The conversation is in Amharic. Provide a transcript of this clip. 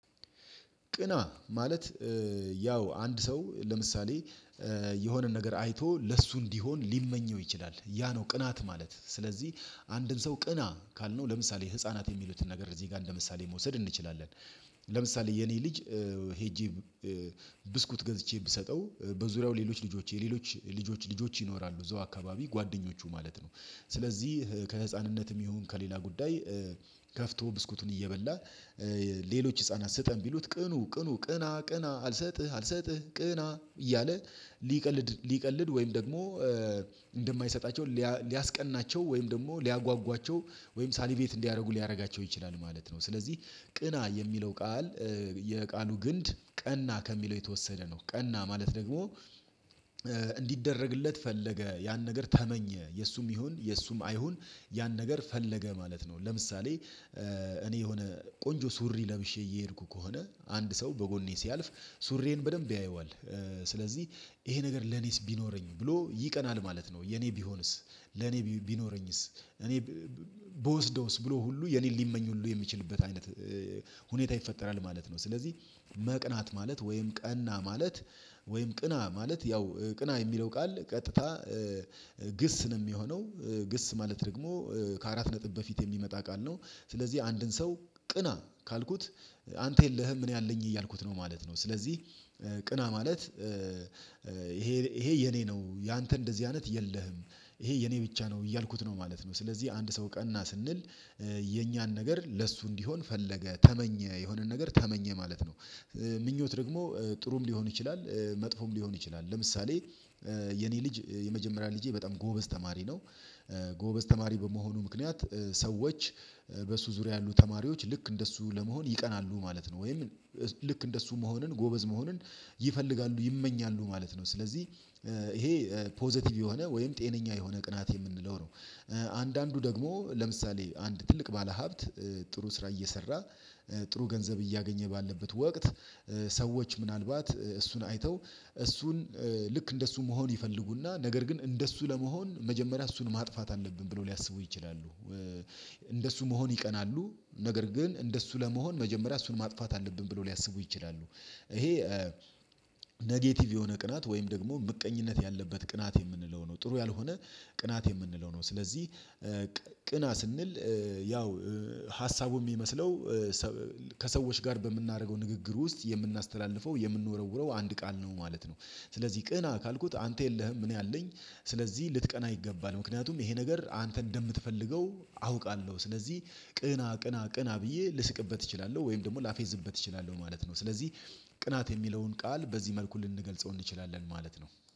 ቅና ማለት ያው አንድ ሰው፣ ለምሳሌ የሆነ ነገር አይቶ ለሱ እንዲሆን ሊመኘው ይችላል። ያነው ቅናት ማለት ስለዚህ አንድን ሰው ቅና ካልነው ለምሳሌ ህፃናት የሚሉትን ነገር እዚህ ጋር እንደምሳሌ መውሰድ እንችላለን ለምሳሌ የኔ ልጅ ሄጄ ብስኩት ገዝቼ ብሰጠው በዙሪያው ሌሎች ልጆች ሌሎች ልጆች ልጆች ይኖራሉ እዛው አካባቢ ጓደኞቹ ማለት ነው ስለዚህ ከህፃንነትም ይሁን ከሌላ ጉዳይ ከፍቶ ብስኩቱን እየበላ ሌሎች ህፃናት ስጠን ቢሉት ቅኑ ቅኑ ቅና ቅና አልሰጥህ አልሰጥህ ቅና እያለ ሊቀልድ ሊቀልድ ወይም ደግሞ እንደማይሰጣቸው ሊያስቀናቸው ወይም ደግሞ ሊያጓጓቸው ወይም ሳሊቬት እንዲያደርጉ ሊያደርጋቸው ይችላል ማለት ነው ስለዚህ ቅና የሚለው ቃል የቃሉ ግንድ ቀና ከሚለው የተወሰደ ነው ቀና ማለት ደግሞ ሊደረግለት ፈለገ ያን ነገር ተመኘ የእሱም ይሁን የእሱም አይሁን ያን ነገር ፈለገ ማለት ነው። ለምሳሌ እኔ የሆነ ቆንጆ ሱሪ ለብሼ እየሄድኩ ከሆነ አንድ ሰው በጎኔ ሲያልፍ ሱሬን በደንብ ያየዋል ስለዚህ ይሄ ነገር ለኔስ ቢኖረኝ ብሎ ይቀናል ማለት ነው። የኔ ቢሆንስ፣ ለኔ ቢኖረኝስ፣ እኔ ብወስደውስ ብሎ ሁሉ የኔ ሊመኝ ሁሉ የሚችልበት አይነት ሁኔታ ይፈጠራል ማለት ነው ስለዚህ መቅናት ማለት ወይም ቀና ማለት ወይም ቅና ማለት ያው ቅና የሚለው ቃል ቀጥታ ግስ ነው የሚሆነው ግስ ማለት ደግሞ ከአራት ነጥብ በፊት የሚመጣ ቃል ነው። ስለዚህ አንድን ሰው ቅና ካልኩት አንተ የለህም እኔ አለኝ እያልኩት ነው ማለት ነው። ስለዚህ ቅና ማለት ይሄ ይሄ የኔ ነው ያንተ እንደዚህ አይነት የለህም ይሄ የኔ ብቻ ነው እያልኩት ነው ማለት ነው ስለዚህ አንድ ሰው ቀና ስንል የኛን ነገር ለሱ እንዲሆን ፈለገ ተመኘ የሆነን ነገር ተመኘ ማለት ነው ምኞት ደግሞ ጥሩም ሊሆን ይችላል መጥፎም ሊሆን ይችላል። ለምሳሌ የኔ ልጅ የመጀመሪያ ልጄ በጣም ጎበዝ ተማሪ ነው። ጎበዝ ተማሪ በመሆኑ ምክንያት ሰዎች በሱ ዙሪያ ያሉ ተማሪዎች ልክ እንደሱ ለመሆን ይቀናሉ ማለት ነው ወይም ልክ እንደሱ መሆንን ጎበዝ መሆንን ይፈልጋሉ፣ ይመኛሉ ማለት ነው። ስለዚህ ይሄ ፖዘቲቭ የሆነ ወይም ጤነኛ የሆነ ቅናት የምንለው ነው። አንዳንዱ ደግሞ ለምሳሌ አንድ ትልቅ ባለሀብት ጥሩ ስራ እየሰራ ጥሩ ገንዘብ እያገኘ ባለበት ወቅት ሰዎች ምናልባት እሱን አይተው እሱን ልክ እንደሱ መሆን ይፈልጉና ነገር ግን እንደሱ ለመሆን መጀመሪያ እሱን ማጥፋት አለብን ብለው ሊያስቡ ይችላሉ። እንደሱ መሆን ይቀናሉ ነገር ግን እንደሱ ለመሆን መጀመሪያ እሱን ማጥፋት አለብን ብለው ሊያስቡ ይችላሉ ይሄ ኔጌቲቭ የሆነ ቅናት ወይም ደግሞ ምቀኝነት ያለበት ቅናት የምንለው ነው። ጥሩ ያልሆነ ቅናት የምንለው ነው። ስለዚህ ቅና ስንል ያው ሀሳቡ የሚመስለው ከሰዎች ጋር በምናደርገው ንግግር ውስጥ የምናስተላልፈው የምንወረውረው አንድ ቃል ነው ማለት ነው። ስለዚህ ቅና ካልኩት አንተ የለህም እኔ አለኝ ስለዚህ ልትቀና ይገባል ምክንያቱም ይሄ ነገር አንተ እንደምትፈልገው አውቃለሁ ስለዚህ ቅና ቅና ቅና ብዬ ልስቅበት እችላለሁ ወይም ደግሞ ላፌዝበት እችላለሁ ማለት ነው። ስለዚህ ቅናት የሚለውን ቃል በዚህ መልኩ ልንገልጸው እንችላለን ማለት ነው።